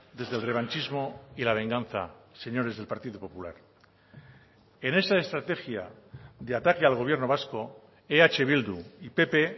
desde el revanchismo y la venganza señores del partido popular en esa estrategia de ataque al gobierno vasco eh bildu y pp